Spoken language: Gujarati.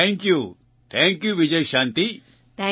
thank you thank you Vijayashanti